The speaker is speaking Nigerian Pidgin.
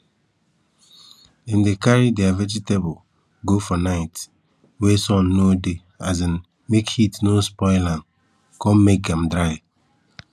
dem dey carry dere vegetable go for night night wey sun no dey um make heat no spoil am con make am dry